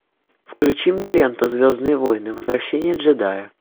включи мне ленту звездные войны возвращение джедая